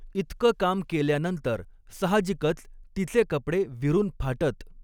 इतकं काम केल्यानंतर साहजिकच तिचे कपडे विरुन फाटत.